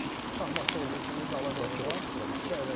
Şahmatda olduğu kimi qala qoruğa iki əvəzləmə.